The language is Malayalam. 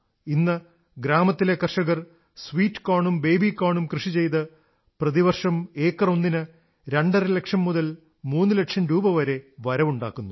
ഇന്ന് ഗ്രാമത്തിലെ കർഷകർ സ്വീറ്റ് കോണും ബേബികോണും കൃഷി ചെയ്ത് പ്രതിവർഷം ഏക്കറൊന്നിന് രണ്ടരലക്ഷം മുതൽ മൂന്നു ലക്ഷം രൂപവരെ ആദായമുണ്ടാക്കുന്നു